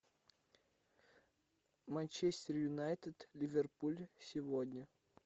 манчестер юнайтед ливерпуль сегодня